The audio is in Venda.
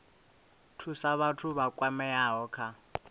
thusa vhathu vha kwameaho kha